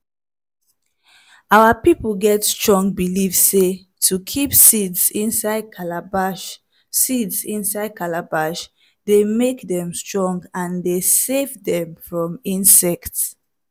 our people get strong believe sey to kip seeds inside calabash seeds inside calabash dey make dem strong and dey savedem from insects.